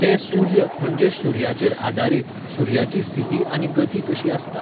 ते सूर्य म्हणजे सुर्याचेर आदारीत, सुर्याची स्थिती आनी गती कशी आसता.